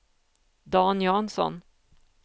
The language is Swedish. Dan Jansson